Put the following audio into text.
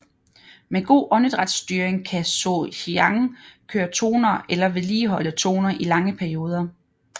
Med god åndedrætsstyring kan Sohyang køre toner eller vedligeholde toner i lange perioder